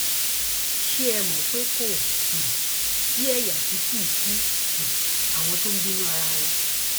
ṣé ẹ mọ pé kò um sí ẹyà tí kì í sí um àwọn tó ń bínú ara wọn